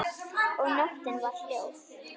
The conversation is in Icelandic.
Og nóttin var hljóð.